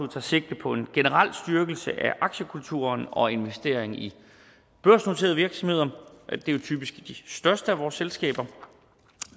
tager sigte på en generel styrkelse af aktiekulturen og investering i børsnoterede virksomheder det er jo typisk i de største af vores selskaber